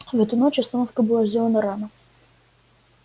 в эту ночь остановка была сделана рано